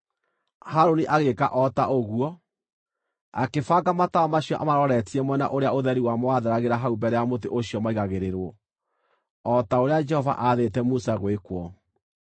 Harũni agĩĩka o ta ũguo; akĩbanga matawa macio amaroretie mwena ũrĩa ũtheri wamo watheragĩra hau mbere ya mũtĩ ũcio maaigagĩrĩrwo, o ta ũrĩa Jehova aathĩte Musa gwĩkwo.